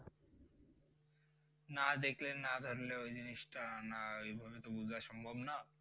না দেখলে না জানলে ওই জিনিস টা না ওইভাবে তো বুঝা সম্ভব না।